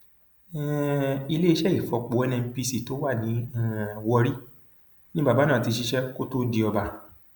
um iléeṣẹ ìfọpo nnpc tó wà ní um warri ni bàbá náà ti ṣiṣẹ kó tóó di ọba